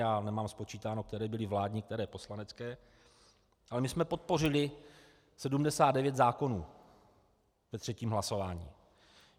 Já nemám spočítáno, které byly vládní, které poslanecké, ale my jsme podpořili 79 zákonů ve třetím hlasování.